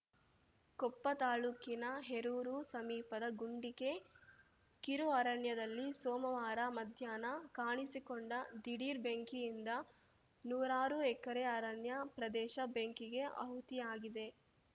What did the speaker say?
ಕೊಪ್ಪ ತಾಲೂಕಿನ ಹೇರೂರು ಸಮೀಪದ ಗುಂಡಿಕೆ ಕಿರುಅರಣ್ಯದಲ್ಲಿ ಸೋಮವಾರ ಮಧ್ಯಾಹ್ನ ಕಾಣಿಸಿಕೊಂಡ ದಿಢೀರ್‌ ಬೆಂಕಿಯಿಂದ ನೂರಾರು ಎಕರೆ ಅರಣ್ಯ ಪ್ರದೇಶ ಬೆಂಕಿಗೆ ಆಹುತಿಯಾಗಿದೆ